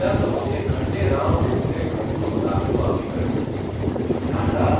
યા કહો કે ખંડેરાવ ઊર્ફે ખંડુનો દાખલો આપી કહ્યું, 'ઢાંઢા!